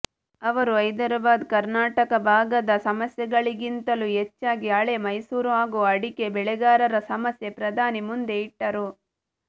ಅವರು ಹೈದರಾಬಾದ ಕರ್ನಾಟಕ ಭಾಗದ ಸಮಸ್ಯೆಗಳಿಗಿಂತಲೂ ಹೆಚ್ಚಾಗಿ ಹಳೆ ಮೈಸೂರು ಹಾಗೂ ಅಡಿಕೆ ಬೆಳೆಗಾರರ ಸಮಸ್ಯೆ ಪ್ರಧಾನಿ ಮುಂದೆ ಇಟ್ಟರು